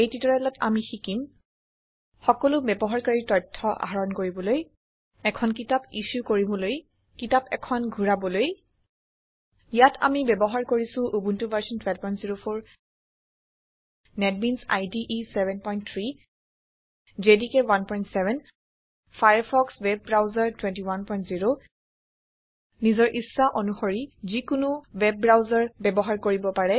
এই টিউটৰিয়েলত আমি শিকিম160 সকলো ব্যৱহাৰকাৰীৰ তথ্য আহৰণ কৰিবলৈ এখন কিতাপ ইছো কৰিবলৈ কিতাপ এখন ঘূৰাবলৈ ইয়াত আমি ব্যৱহাৰ কৰিছো Ubuntu version 1204 NetBeans IDE 73 JDK 17 Firefox web browser 210 নিজৰ ইচ্ছা অনুশৰি যিকোনো ৱেব ব্ৰাউচাৰ ব্যৱহাৰ কৰিব পাৰে